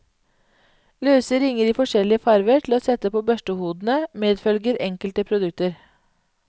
Løse ringer i forskjellige farver til å sette på børstehodene, medfølger enkelte produkter.